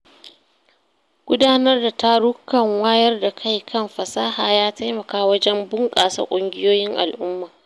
Gudanar da tarukan wayar da kai kan fasaha ya taimaka wajen bunƙasa ƙungiyoyin al’umma.